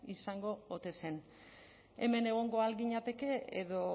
izango ote zen hemen egongo al ginateke edo